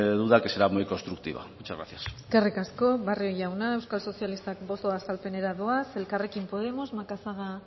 duda que será muy constructivo muchas gracias eskerrik asko barrio jauna euskal sozialistak boto azalpenera doaz elkarrekin podemos macazaga